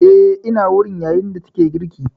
Eh ina wurin, yayin da take girki